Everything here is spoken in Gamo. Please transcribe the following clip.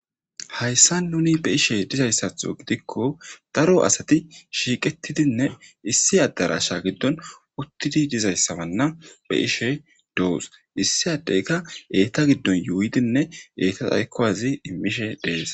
Hayssa nuni be ishe dizayssatho gidikko daro asati shiiqetidinne issi addarasha giddon uttidi dizayssabanna be ishe doos issi addeyka eeta giddon yuuydinne eeta aykkowazi immishe dees.